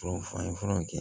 an ye furaw kɛ